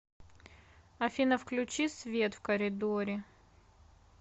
афина включи свет в коридоре